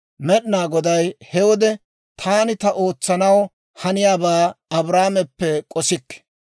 Med'inaa Goday he wode, «Taani ta ootsanaw haniyaabaa Abrahaameppe k'osikke.